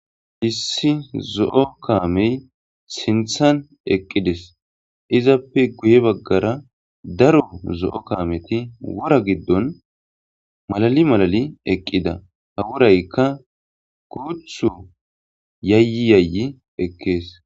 issi zo7o kaamey sinthan eqqides izappe guye baggara daro zo7o kaameti wora giddon malali malali eqqida ha worayka guuthu yayyi yayyi ekkees.